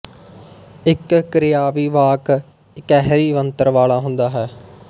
ਇੱਕ ਕਿਰਿਆਵੀ ਵਾਕ ਇਕਹਿਰੀ ਬਣਤਰ ਵਾਲ਼ਾ ਹੁੰਦਾ ਹੈ